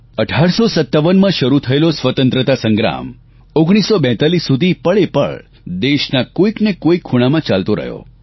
1857માં શરૂ થયેલો સ્વતંત્રતા સંગ્રામ 1942 સુધી પળેપળ દેશના કોઇક ને કોઇક ખૂણામાં ચાલતો રહ્યો